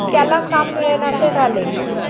त्याला काम मिळेनासे झाले.